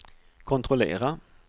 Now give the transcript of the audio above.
kontrollera